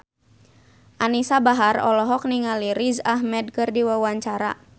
Anisa Bahar olohok ningali Riz Ahmed keur diwawancara